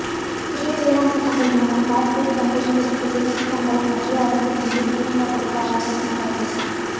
புதிய வேளாண் சட்டங்கள் மூலம் கார்பரேட் கம்பெனிகளுக்கு சிகப்புக் கம்பளம் மத்திய அரசு மீது திமுக பொறுப்பாளர் குற்றச்சாட்டு